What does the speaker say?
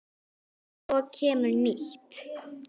Tökum lagið, landar góðir.